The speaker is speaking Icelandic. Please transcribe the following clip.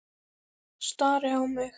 Stari á mig.